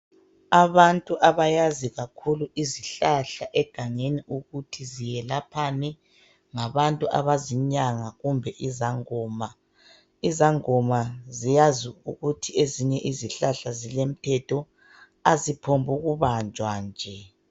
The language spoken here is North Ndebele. Abantu abayazi kakhulu izihlahla egangeni ukuthi ziyelaphani ngabantu abazinyanga kumbe izangoma , izangoma ziyazi ukuthi izinye izihlahla zilomthetho aziphokubanjwa nje .